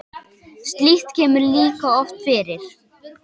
slíkt kemur líka oft fyrir